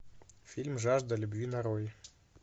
фильм жажда любви нарой